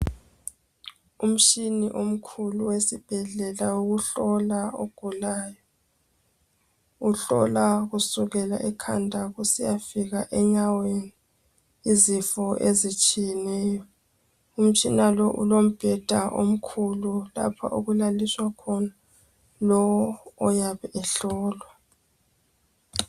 Umtshina omkhulu esibhedlela wokuhlola ogulane. Uhlola kusukela ekhanda kusiya fika enyaweni izifo ezitshiyeneyo. Umtshina lo, ulombeda omkhulu lapho okulaliswa khona lo oyabehlolwa.